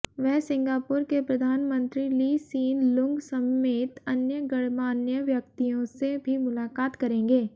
वह सिंगापुर के प्रधानमंत्री ली सीन लूंग समेत अन्य गणमान्य व्यक्तियों से भी मुलाकात करेंगे